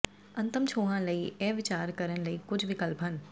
ਅੰਤਮ ਛੋਹਾਂ ਲਈ ਇਹ ਵਿਚਾਰ ਕਰਨ ਲਈ ਕੁੱਝ ਵਿਕਲਪ ਹਨ